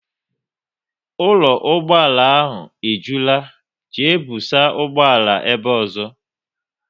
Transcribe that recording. Ụlọ ụgbọala e jula, jee busa ụgbọala ebe ọzọ!